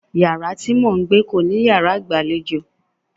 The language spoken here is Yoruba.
Yàrá tí mò ń gbé kò ní yàrá ìgbàlejò.